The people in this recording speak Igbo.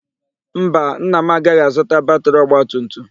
Mba, nna m agaghị azụta batịrị ọgbatumtum.